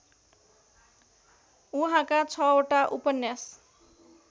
उहाँका ६ वटा उपन्यास